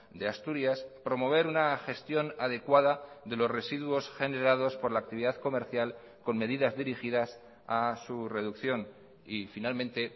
de asturias promover una gestión adecuada de los residuos generados por la actividad comercial con medidas dirigidas a su reducción y finalmente